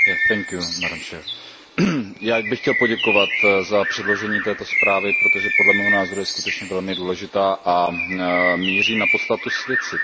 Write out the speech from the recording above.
Vážená předsedající, já bych chtěl poděkovat za předložení této zprávy, protože podle mého názoru je skutečně velmi důležitá a míří na podstatu věci.